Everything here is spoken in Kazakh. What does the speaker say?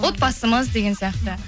отбасымыз деген сияқты